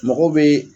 Mɔgɔ bɛ